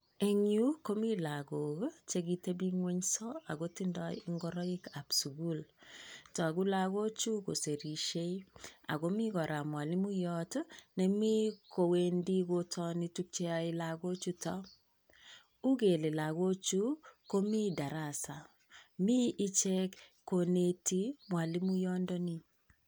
En yuu komii lokok chekitepingwenso ako tindoi ingoroik ab sukul tokuk lokochuu kosirishe ako mii koraa mwalimuyon nemii kowendii kotoni tukuk cheyoe loko chutok ukele lokochuu komii darasa mii ichek koneti mwalimuyot ndonii.